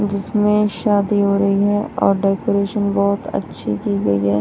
जिसमें शादी हो रही है और डेकोरेशन बहोत अच्छी की गई है।